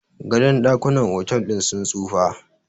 gadon dakunan otal din sun tsufa